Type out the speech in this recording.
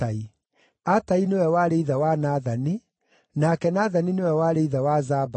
Atai nĩwe warĩ ithe wa Nathani, nake Nathani nĩwe warĩ ithe wa Zabadi,